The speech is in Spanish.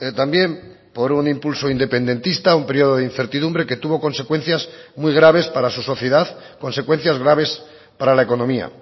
también por un impulso independentista un periodo de incertidumbre que tuvo consecuencias muy graves para su sociedad consecuencias graves para la economía